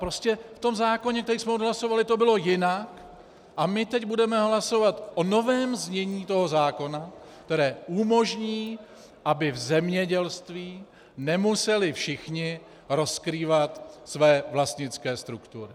Prostě v tom zákoně, který jsme odhlasovali, to bylo jinak a my teď budeme hlasovat o novém znění toho zákona, které umožní, aby v zemědělství nemuseli všichni rozkrývat své vlastnické struktury.